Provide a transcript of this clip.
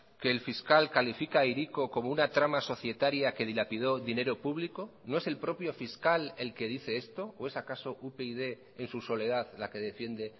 que el fiscal califica a hiriko como una trama societaria que dilapidó dinero público no es el propio fiscal el que dice esto o es acaso upyd en su soledad la que defiende